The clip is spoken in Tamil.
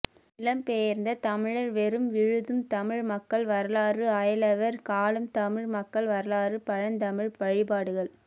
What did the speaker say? நிலம் பெயர்ந்த தமிழர் வேரும் விழுதும் தமிழ் மக்கள் வரலாறு அயலவர் காலம் தமிழ் மக்கள் வரலாறு பழந்தமிழர் வழிப்பாடுகள்